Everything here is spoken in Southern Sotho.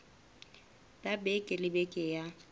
ya beke le beke ya